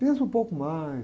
Pensa um pouco mais.